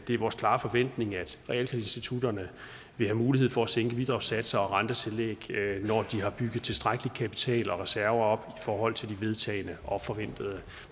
det er vores klare forventning at realkreditinstitutterne vil have mulighed for at sænke bidragssatser og rentetillæg når de har bygget tilstrækkelig kapital og reserver op i forhold til de vedtagne og forventede